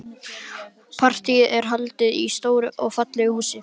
Partíið er haldið í stóru og fallegu húsi.